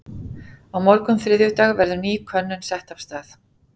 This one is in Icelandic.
Á morgun þriðjudag verður ný könnun sett af stað.